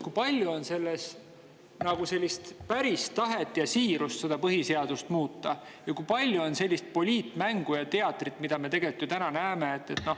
Kui palju te näete selles arutelus siirust ja päris tahet põhiseadust muuta ja kui palju on sellist poliitmängu ja teatrit, mida me tegelikult täna näeme?